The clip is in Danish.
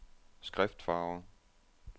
skriftfarve